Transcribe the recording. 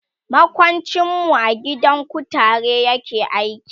makwancin mu a gidan kutare yake aiki